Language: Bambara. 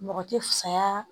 Mɔgɔ tɛ fusaya